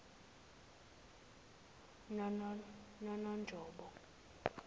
nononjobo